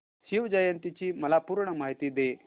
शिवजयंती ची मला पूर्ण माहिती दे